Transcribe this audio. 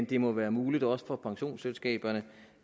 det må være muligt også for pensionsselskaberne